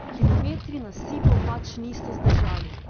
Kilometri nasipov pač niso zdržali.